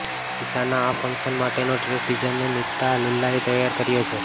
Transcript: ઈશાના આ ફંકશન માટેનો dress designer Nita લુલ્લાએ તૈયાર કર્યો છે